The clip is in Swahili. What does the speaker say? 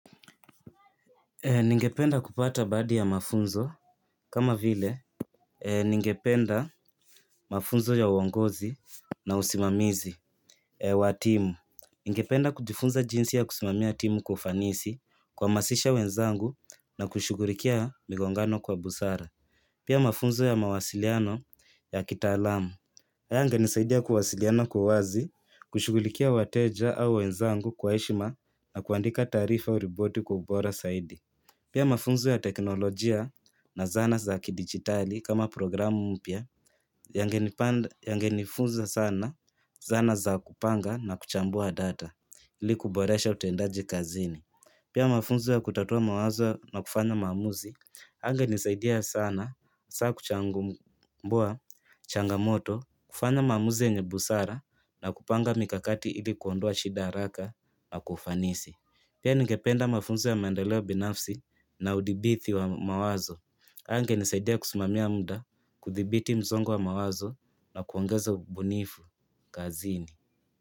Ningependa kupata baadhi ya mafunzo kama vile Ningependa mafunzo ya uongozi na usimamizi wa timu Ningependa kujifunza jinsi ya kusimamia timu kwa ufanisi kuhamasisha wenzangu na kushughulikia migongano kwa busara Pia mafunzo ya mawasiliano ya kitaalamu haya yangenisaidia kuwasiliana kwa uwazi, kushughulikia wateja au wenzangu kwa heshima na kuandika taarifa au ripoti kwa ubora zaidi Pia mafunzo ya teknolojia na zana za kidigitali kama programu mpya yangenifunza sana zana za kupanga na kuchambua data ili kuboresha utendaji kazini. Pia mafunzo ya kutatua mawazo na kufanya maamuzi, yangenisaidia sana hasa kuchambua changamoto, kufanya maamuzi yenye busara na kupanga mikakati ili kuondoa shida haraka na kwa ufanisi. Pia ningependa mafunzo ya maendaleo binafsi na udhibiti wa mawazo. Yangenisadia kusimamia muda, kudhibiti msongo wa mawazo na kuongeza bunifu kazini.